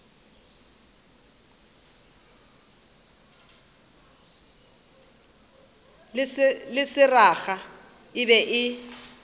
le seraga e be e